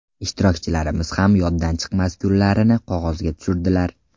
Ishtirokchilarimiz ham yoddan chiqmas kunlarini qog‘ozga tushirdilar.